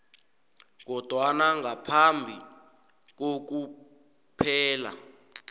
kodwana ngaphambi kokuphela